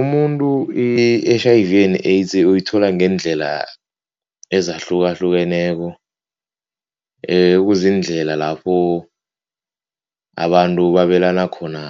Umuntu i-H_I_V and AIDS uyithola ngeendlela ezahlukahlukeneko, ekuziindlela lapho abantu babelane khona